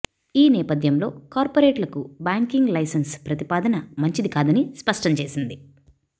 ఈ నేపథ్యంలో కార్పొరేట్లకు బ్యాంకింగ్ లైసెన్స్ ప్రతిపాదన మంచిదికాదని స్పష్టం చేసింది